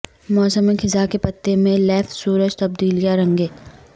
موسم خزاں کے پتے میں لیف سورج تبدیلیاں رنگیں